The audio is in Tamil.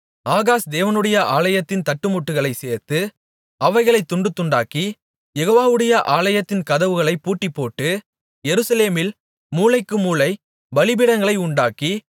ஆகாஸ் தேவனுடைய ஆலயத்தின் தட்டுமுட்டுகளைச் சேர்த்து அவைகளைத் துண்டுதுண்டாக்கி யெகோவாவுடைய ஆலயத்தின் கதவுகளைப் பூட்டிப்போட்டு எருசலேமில் மூலைக்குமூலை பலிபீடங்களை உண்டாக்கி